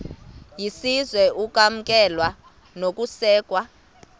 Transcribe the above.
yesizwe ukwamkelwa nokusekwa